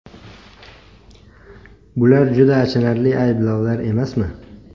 Bular juda achinarli ayblovlar emasmi?!